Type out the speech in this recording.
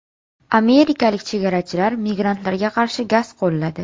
Amerikalik chegarachilar migrantlarga qarshi gaz qo‘lladi.